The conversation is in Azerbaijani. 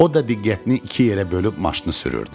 O da diqqətini iki yerə bölüb maşını sürürdü.